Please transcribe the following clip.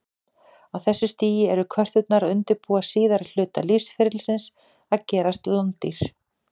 Á þessu stigi eru körturnar að undirbúa síðari hluta lífsferlisins, að gerast landdýr.